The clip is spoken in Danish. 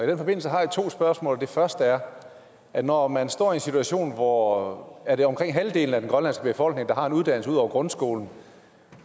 den forbindelse har jeg to spørgsmål det første er er når man står i en situation hvor er omkring halvdelen af den grønlandske befolkning der har en uddannelse ud over grundskolen